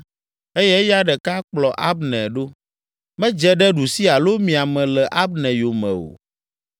eye eya ɖeka kplɔ Abner ɖo. Medze ɖe ɖusi alo mia me le Abner yome o.